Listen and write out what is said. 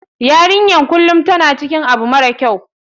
YArinyanbkulum tan cikin abu mara kyau.